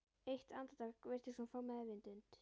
Eitt andartak virtist hún fá meðvitund.